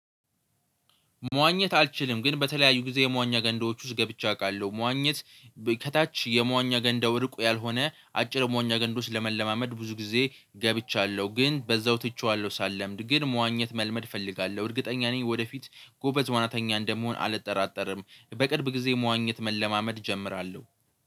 መዋኘት አልችልም ግን በተለያዩ ጊዜ የመዋኛ ገንዳዎች ውስጥ ገብቼ አውቃለሁ መዋኘት። ከታች የመዋኛ ገንዳው እሩቅ ያልሆነ አጭር መዋኛ ገንዳ ውስጥ ለመለማመድ ብዙ ጊዜ ገብቻለሁ ግን በዛው ትቼዋለሁ። ሳልለምድ ግን መዋኘት መልመድ እፈልጋለሁ እርግጠኛ ነኝ ወደፊት ጎበዝ ዋናተኛ እንደምሆን አልጠራጠርም። በቅድም ጊዜ መዋኘት መለማመድ እጀምራለሁ።